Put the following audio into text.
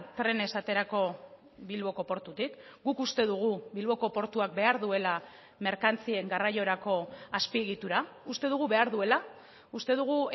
trenez aterako bilboko portutik guk uste dugu bilboko portuak behar duela merkantzien garraiorako azpiegitura uste dugu behar duela uste dugu